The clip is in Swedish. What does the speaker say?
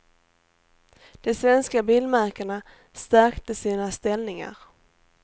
De svenska bilmärkena stärkte sina ställningar.